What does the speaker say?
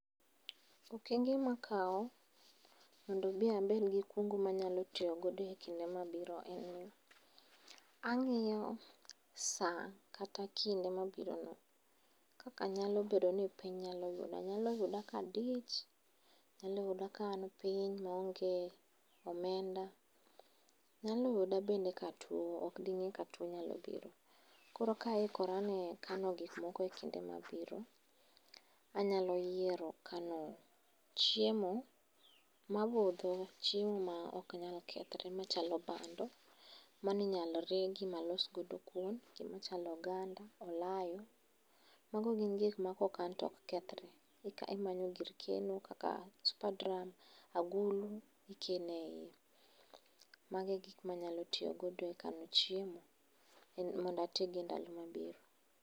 Okenge makawo mondo mi abed gi kungo manyalo tiyogo e kinde mabiro en, ang'iyo sa kata kinde mabirono. Kakanyalo bedo ni piny yuda, nyalo yuda kadich, nyaloyuda kaan piny maonge omenda. Nyaloyuda bende katuo, okding'e katuo biro. Anyalo yiero kano chiemo mabudho, chiemo ma ok nyal kethre machalo bando. Maninyalo regi malos godo kuon, gimachalo oganda, alayo, mago gin gikma kokan tok kethre. Imanyo gir keno kaka super drum, agulu, ikeneiye. Mago egikmanyalo tiyogodo e kano chiemo mond oatigodo endalo mabiro.